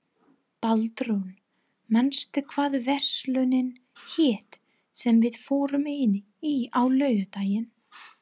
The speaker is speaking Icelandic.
Baldrún, manstu hvað verslunin hét sem við fórum í á laugardaginn?